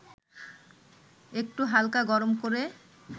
একটু হালকা গরম করে